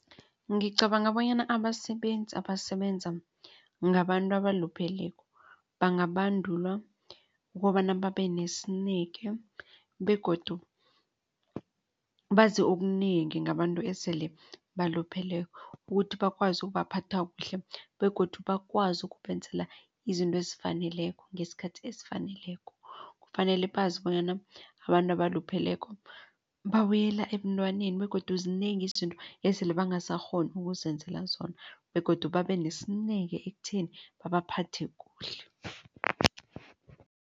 Ngicabanga bonyana abasebenzi abasebenza ngabantu abalupheleko bangabandulwa ukobana babenesineke begodu bazi okunengi ngabantu esele balupheleko ukuthi bakwazi ukubaphatha kuhle begodu bakwazi ukubenzela izinto ezifaneleko ngesikhathi esifaneleko. Kufanele bazi bonyana abantu abalupheleko babuyela ebuntwaneni begodu zinengi izinto esele bangasakghoni ukuzenzela zona begodu babenesineke ekutheni babaphathe kuhle.